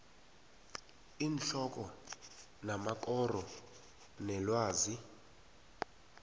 iinhloko namakoro welwazi